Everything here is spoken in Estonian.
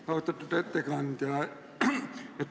Aitäh, austatud ettekandja!